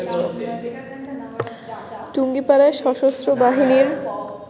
টুঙ্গীপাড়ায় সশস্ত্র বাহিনীর